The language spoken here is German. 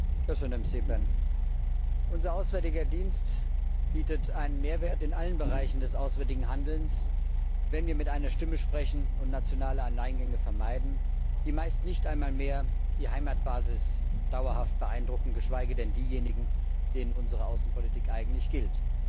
Herr Präsident! Unser Auswärtiger Dienst bietet einen Mehrwert in allen Bereichen des auswärtigen Handelns, wenn wir mit einer Stimme sprechen und nationale Alleingänge vermeiden, die meist nicht einmal mehr die Heimatbasis dauerhaft beeindrucken, geschweige denn diejenigen, denen unsere Außenpolitik eigentlich gilt.